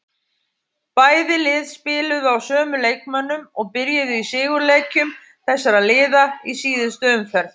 Bæði lið spiluðu á sömu leikmönnum og byrjuðu í sigurleikjum þessara liða í síðustu umferð.